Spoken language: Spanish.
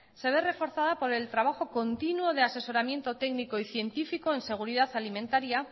se ve reforzada por el trabajo continuo de asesoramiento técnico y científico en seguridad alimentaria